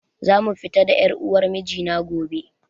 Za mu fita da ƴar uwar miji na gobe